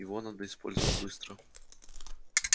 его надо использовать быстро